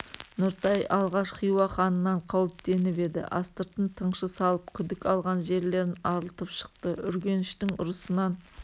нұртай алғаш хиуа ханынан қауіптеніп еді астыртын тыңшы салып күдік алған жерлерін арылтып шықты үргеніштің ұрысынан